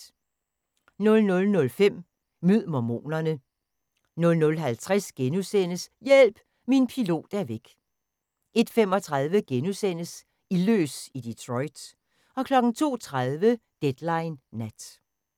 00:05: Mød mormonerne 00:50: Hjælp! Min pilot er væk! * 01:35: Ildløs i Detroit * 02:30: Deadline Nat